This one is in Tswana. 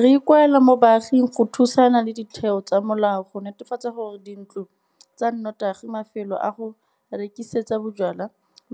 Re ikuela mo baaging go thusana le ditheo tsa molao go netefatsa gore dintlo tsa notagi, mafelo a go rekisetsa bojalwa,